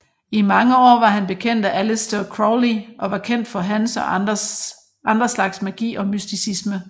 I mange år var han bekendt af Aleister Crowley og var kendt med hans og andre slags magi og mysticisme